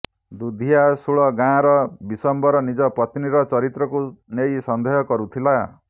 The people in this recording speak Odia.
ଦୁଧିଆଶୁଳ ଗାଁର ବିଶ୍ୱମ୍ବର ନିଜ ପତ୍ନୀର ଚରିତ୍ରକୁ ନେଇ ସନ୍ଦେହ କରୁଥିଲା